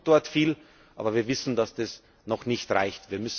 Europa tut dort viel, aber wir wissen, dass das noch nicht reicht.